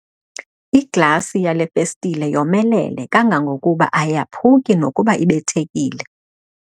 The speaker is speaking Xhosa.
Iglasi yale festile yomelele kangangokuba ayaphuki nokuba ibethekile.